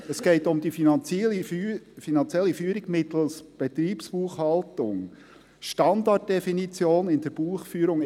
Es geht um die finanzielle Führung mittels Betriebsbuchhaltung, Standarddefinitionen in der Buchführung